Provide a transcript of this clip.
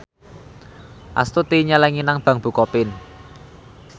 Astuti nyelengi nang bank bukopin